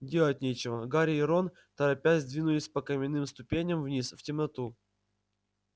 делать нечего гарри и рон торопясь двинулись по каменным ступеням вниз в темноту